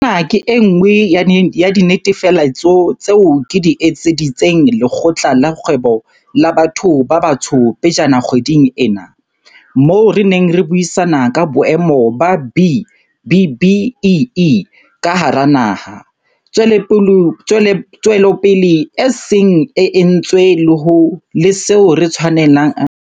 Ena ke e nngwe ya dinetefaletso tseo ke di etseditseng Lekgotla la Kgwebo la Batho ba Batsho pejana kgweding ena, moo re neng re buisana ka boemo ba B-BBEE ka hara naha, tswelopele e seng e entswe le seo re tshwanelang ho se etsa mmoho ho aha hodima dikatleho tsa rona.